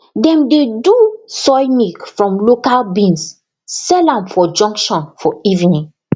dem dey do soy milk from local beans sell am for junction for evening